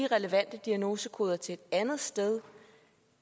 de relevante diagnosekoder til et andet sted